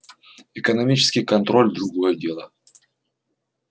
экономический контроль другое дело